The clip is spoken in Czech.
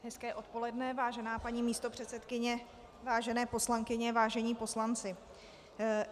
Hezké odpoledne, vážená paní místopředsedkyně, vážené poslankyně, vážení poslanci.